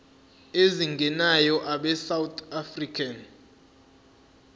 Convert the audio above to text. ezingenayo abesouth african